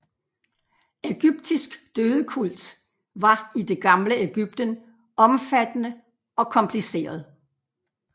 Ægyptisk dødekult var i det gamle Ægypten omfattende og kompliceret